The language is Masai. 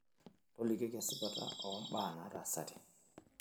tolikioki esipata ombaa naataasate